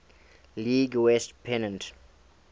league west pennant